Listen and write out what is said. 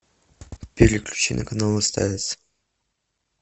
переключи на канал стс